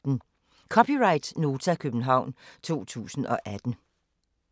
(c) Nota, København 2018